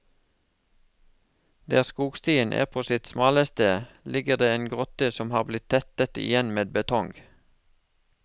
Der skogstien er på sitt smaleste, ligger det en grotte som har blitt tettet igjen med betong.